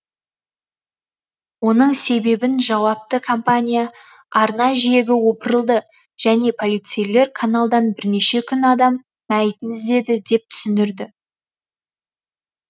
оның себебін жауапты компания арна жиегі опырылды және полицейлер каналдан бірнеше күн адам мәйітін іздеді деп түсіндірді